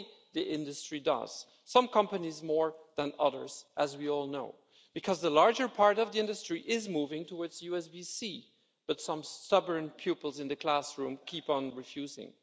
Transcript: Only the industry does, some companies more than others, as we all know, because the larger part of the industry is moving towards USB C, but some stubborn pupils in the classroom keep on refusing.